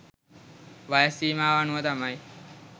වයස් සීමාව අනුව තමයි